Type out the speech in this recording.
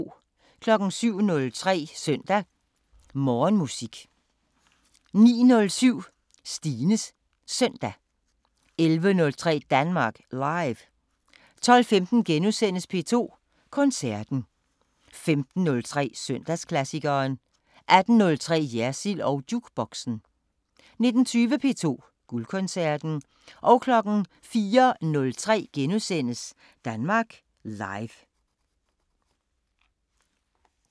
07:03: Søndag Morgenmusik 09:07: Stines Søndag 11:03: Danmark Live 12:15: P2 Koncerten * 15:03: Søndagsklassikeren 18:03: Jersild & Jukeboxen 19:20: P2 Guldkoncerten 04:03: Danmark Live *